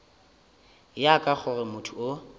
ya ka gore motho o